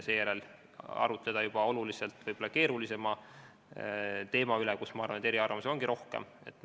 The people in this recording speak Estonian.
Seejärel võiks arutleda oluliselt keerulisema teema üle, kus, ma arvan, eriarvamusi ongi rohkem.